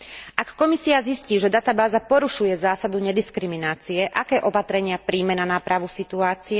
Ak Komisia zistí, že databáza porušuje zásadu nediskriminácie, aké opatrenia prijme na nápravu situácie?